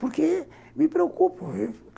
Porque me preocupo.